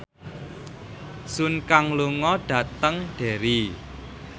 Sun Kang lunga dhateng Derry